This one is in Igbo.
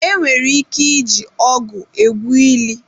Enwere ike iji ọgụ egwu ili.